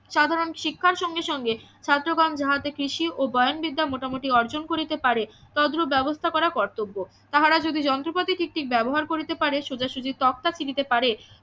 সাধারণ শিক্ষার সঙ্গে সঙ্গে ছাত্র গণ যাহাতে কৃষি ও বিদ্যা মোটামোটি অর্জন করিতে পারে তদ্রুপ ব্যবস্থা করা কর্তব্য তাহারা যদি যন্ত্রপাতি ঠিক ঠিক ব্যবহার করিতে পারে সোজাসুজি তক্তা কিনিতে পারে